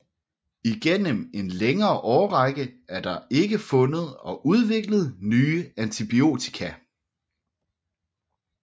Igennem en længere årrække er der ikke fundet og udviklet nye antibiotika